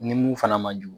Ni mun fana man jugu